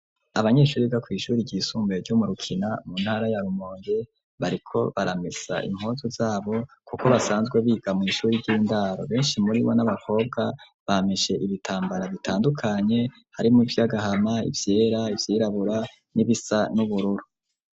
Abanyeshure biga kw'ishure ry'isumbuye ryo murukina mu ntara ya rumonge bariko baramesa impuzu zabo kuko basanzwe biga mw'ishure ry'indaro benshi muri bo n'abakobwa bamishe ibitambara bitandukanye hari mu vyagahama, ivyera, ivyirabura, n'ibisa n'ubururu.